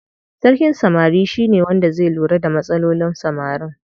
Sarkin samari shine wanda zai lura da matsalolin samarin.